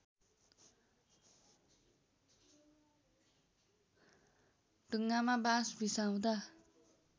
ढुङ्गामा बाँस बिसाउँदा